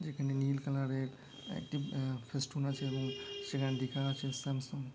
যেখানে নীল কালার এর একটি অ্যা ফেস্টুন আছে এবং সেখানে লেখা আছে স্যামসাং ।